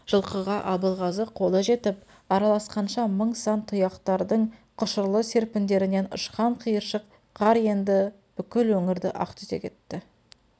жылқыға абылғазы қолы жетіп араласқанша мың сан тұяқтардың құшырлы серпіндерінен ұшқан қиыршық қар енді бүкіл өңірді ақтүтек етті